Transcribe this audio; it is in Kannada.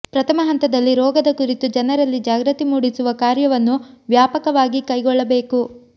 ಪ್ರಥಮ ಹಂತದಲ್ಲಿ ರೋಗದ ಕುರಿತು ಜನರಲ್ಲಿ ಜಾಗೃತಿ ಮೂಡಿಸುವ ಕಾರ್ಯವನ್ನು ವ್ಯಾಪಕವಾಗಿ ಕೈಗೊಳ್ಳಬೇಕು